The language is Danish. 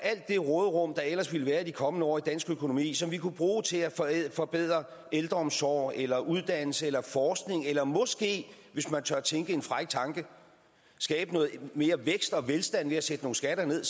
det råderum der ellers ville være i de kommende år i dansk økonomi som vi kunne bruge til at forbedre ældreomsorg eller uddannelse eller forskning eller måske hvis man tør tænke en fræk tanke skabe noget mere vækst og velstand ved at sætte nogle skatter ned